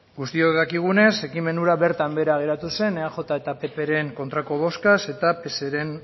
guztiok dakigunez ekimen hura bertan behera geratu zen eaj eta ppren kontrako boskaz eta pseren